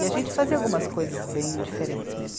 E a gente fazia algumas coisas bem diferentes mesmo.